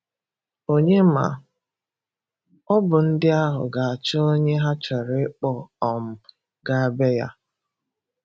onye ma ọ bu ndị ahụ ga-achọ onye ha chọrọ ịkpọ um gaa be ya.